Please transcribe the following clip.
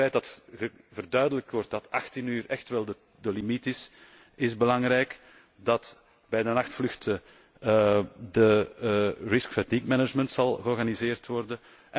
Het feit dat verduidelijkt wordt dat 18 uur echt wel de limiet is, is belangrijk, dat bij de nachtvluchten de fatigue risk management georganiseerd zal worden.